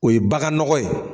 O ye bagan nɔgɔ ye